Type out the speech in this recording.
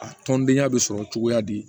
A tɔndenya bɛ sɔrɔ cogoya di